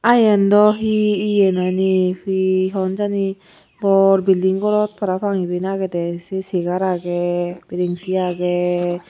ah yen dow he iye noney he hon jani bor bilding gorot parapang iben agede ey se segar agey brenchi agey.